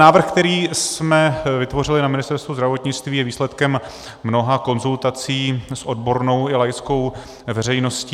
Návrh, který jsme vytvořili na Ministerstvu zdravotnictví, je výsledkem mnoha konzultací s odbornou i laickou veřejností.